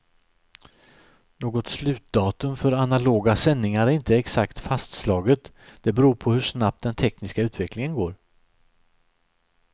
Något slutdatum för analoga sändningar är inte exakt fastslaget, det beror på hur snabbt den tekniska utvecklingen går.